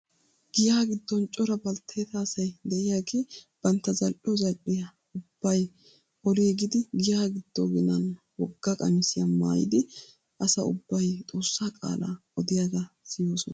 Giyaa giddon cora baltteta asay de'iyaagee bantta zal"iyoo zal"iyaa ubbay oliigidi giya giddo ginan wogga qamisiyaa maayidi asa ubbawu xoossaa qaalaa odiyaagaa siyoosona.